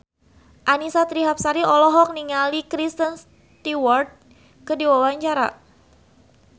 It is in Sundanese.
Annisa Trihapsari olohok ningali Kristen Stewart keur diwawancara